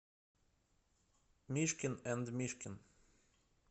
мишкин энд мишкин